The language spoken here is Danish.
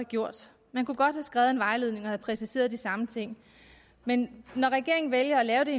gjort man kunne godt have skrevet en vejledning og have præciseret de samme ting men når regeringen vælger at lave det